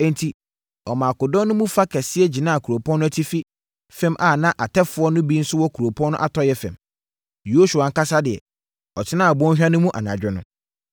Enti, ɔmaa akodɔm no mu fa kɛseɛ gyinaa kuropɔn no atifi fam a na atɛfoɔ no bi nso wɔ kuropɔn no atɔeɛ fam. Yosua ankasa deɛ, ɔtenaa bɔnhwa no mu anadwo no.